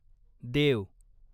देव